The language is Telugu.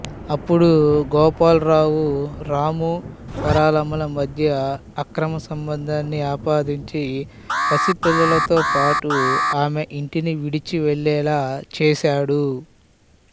అప్పుడు గోపాలరావు రాము వరాలమ్మల మధ్య అక్రమ సంబంధాన్ని ఆపాదించి పసిపిల్లలతో పాటు ఆమె ఇంటిని విడిచి వెళ్ళేలా చేస్తాడు